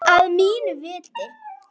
Að mínu viti.